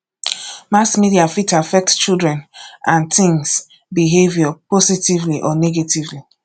mass media fit affect children and teens behavior positively or negatively